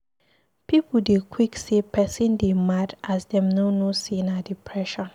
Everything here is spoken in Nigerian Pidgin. Pipu dey quick say pesin dey mad as dem no know sey na depression.